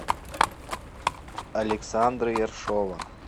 александра ершова